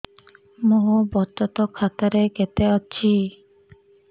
ମୋ ବଚତ ଖାତା ରେ କେତେ ଅଛି